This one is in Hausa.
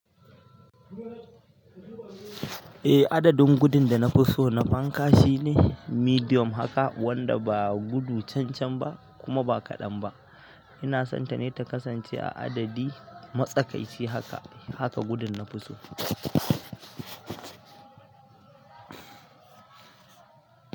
Eh adadin gudun da nafi so na fanka shine medium haka wanda ba gudu can can ba kuma ba kaɗan ba. Ina son ta ne ta kasance a adadi matsakaici haka. Haka gudun na fi so.